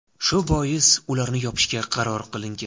Shu bois ularni yopishga qaror qilingan.